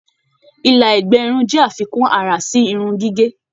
Ìla ẹgbẹ irun jẹ àfikún àrà sí irun gígé.